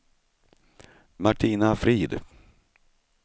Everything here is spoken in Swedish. Martina Frid